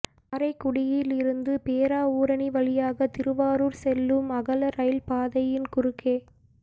காரைக்குடியிலிருந்து பேராவூரணி வழியாக திருவாரூா் செல்லும் அகல ரயில் பாதையின் குறுக்கே